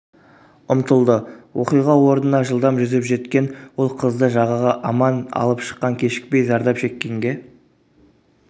ұмтылды оқиға орнына жылдам жүзіп жеткен ол қызды жағаға аман алып шыққан кешікпей зардап шеккенге